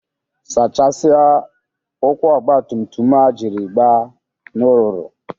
Saachasia ụkwụ ọgbatumtum a ijiri gba n'ụrụrụ!